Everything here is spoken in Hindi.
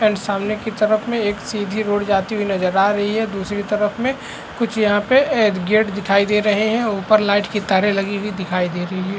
एंड सामने की तरफ में एक सीधी रोड जाती हुई नजर आ रही है दूसरी तरफ में कुछ यहाँ पे गेट दिखाई दे रही हैं उपर लाइट की तारे लगी हुई दिखाई दे रही है।